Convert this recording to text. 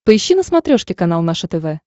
поищи на смотрешке канал наше тв